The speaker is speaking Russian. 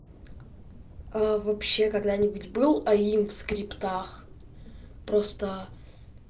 вообще когда-нибудь был аим в скриптах просто